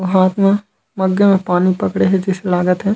हाथ म मग्गे में पानी पकड़े हे जैसे लागत हे।